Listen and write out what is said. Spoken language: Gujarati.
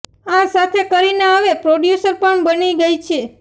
આ સાથે કરીના હવે પ્રોડ્યૂસર પણ બની ગઇ છે